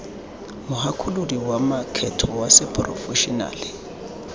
mogakolodi wa makgetho wa seporofešenale